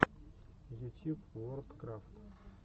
ютьюб ворлдкрафт